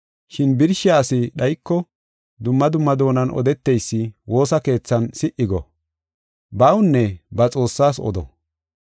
Shin birshiya asi dhayiko, dumma dumma doonan odeteysi woosa keethan si77i go. Bawunne ba Xoossaas odo.